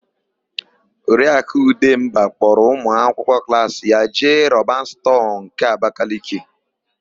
Oriakụ Ụdemba kpọrọ ụmụakwụkwọ klaasi ya jee Roban stọọ nke Abakeleke.